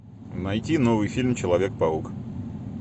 найти новый фильм человек паук